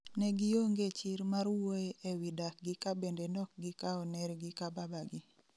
Negionge chir mar wuoye ewi dak gi ka bende nokgikao ner gi ka baba gi